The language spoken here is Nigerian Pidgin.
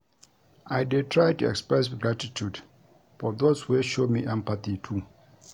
I dey try to express gratitude for those wey show me empathy too.